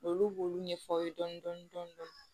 Olu b'olu ɲɛfɔ aw ye dɔɔnin dɔɔnin